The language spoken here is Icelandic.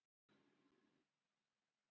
Hálkublettir á fjallvegum